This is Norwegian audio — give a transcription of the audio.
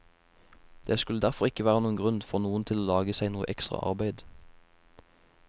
Det skulle derfor ikke være noen grunn for noen til å lage seg noe ekstra arbeid.